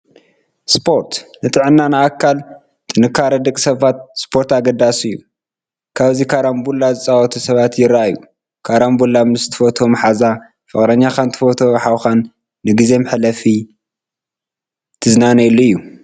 ስፖርት፡- ንጥዕናን ንኣካል ጥንካረን ደቂ ሰባት ስፖርት ኣገዳሲ እዩ፡፡ ኣብዚ ካራምቡላ ዝፃወቱ ሰባት ይራኣዩ፡፡ ካራምቡላ ምስ ትፈትዎ ማሓዛ ፣ ፍቕረኛኻን ትፈትዎ ሓውካን ንጊዜ መሕለፊ ትዝናነየሉ እዩ፡፡